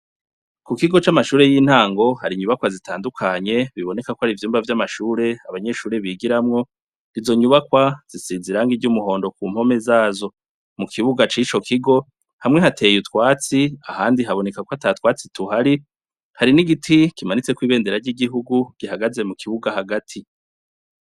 Ku kigo c'amashure y'intango hari inyubakwa zitandukanye biboneka ko hari ivyumba vy'amashure abanyeshuri bigiramwo izo nyubakwa zisiziranga iry'umuhondo ku mpome zazo .Mu kibuga cico kigo hamwe hateye utwatsi ahandi haboneka ko hatatwatsi tuhari hari n'igiti kimanitse ko'ibendera ry'igihugu gihagaze mu kibuga hagati.